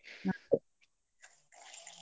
ಅದೇ.